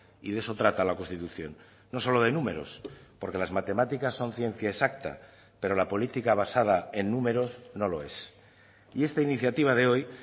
y de eso trata la constitución no solo de números porque las matemáticas son ciencia exacta pero la política basada en números no lo es y esta iniciativa de hoy